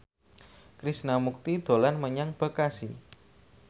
Krishna Mukti dolan menyang Bekasi